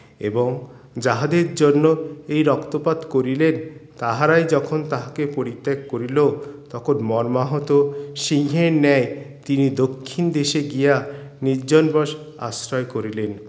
এবং যাহাদের জন্য এই রক্তপাত করিলেন তাহারাই যখন তাহাকে পরিত্যাগ করিলো তখন মর্মাহত সিংহের ন্যায় তিনি দক্ষিণ দেশে গিয়া নির্জন বশ আশ্রয় করিলেন